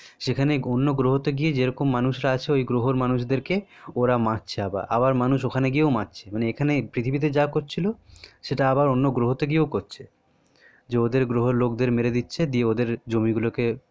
সেখানে অন্য গ্রহতে গিয়ে মানুষরা আছে ওদেরকে ওরা মারছে আবার মানুষ ওখানে গিয়েও মারছে মানে এখানে পৃথিবীতে যা করছিলো সেটা আবার অন্য গ্রহতে গিয়েও করছে যে ওদের গ্রহের লোকদের মেরে দিচ্ছে দিয়ে ওদের জমিগুলোকে